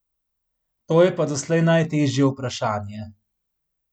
To je pa doslej najtežje vprašanje.